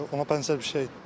Ona bənzər bir şey idi.